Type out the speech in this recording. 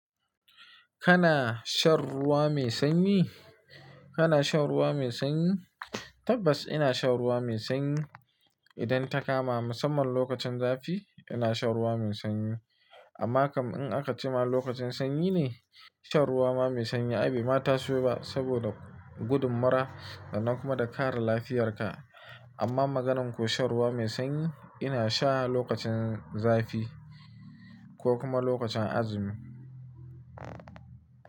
Kana shan ruwa mai sanyi? Kana shan ruwa mai sanyi? Tabbas ina shan ruwa mai sanyi. Idan ta kama musamman lokacin zafi ina shan ruwa mai sanyi. Amma kam in aka ci ma lokacin sanyi ne shan ruwa ma mai sanyi abu ma ta so ba saboda gudun mura sannan kuma da kare lafiyarka. Amma magananku shan ruwa mai sanyi ina sha lokacin zafi ko kuma lokacin azumi.